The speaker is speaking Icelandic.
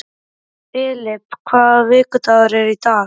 Filip, hvaða vikudagur er í dag?